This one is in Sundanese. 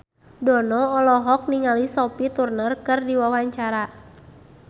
Dono olohok ningali Sophie Turner keur diwawancara